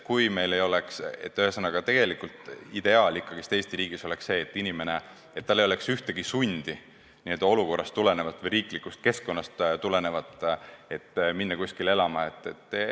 Ühesõnaga, ideaal Eesti riigis oleks see, et inimesel ei oleks mingit sundi n-ö olukorrast või riiklikust keskkonnast tulenevalt kuskile elama minna.